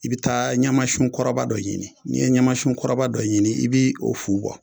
I bi taa ɲamasun kɔrɔba dɔ ɲini n'i ye ɲamasiun kɔrɔba dɔ ɲini i bi o fu bɔ